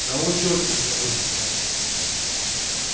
на учёт не забудь встать